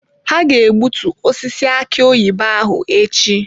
Ha ga-egbutu osisi aki oyibo ahụ echi.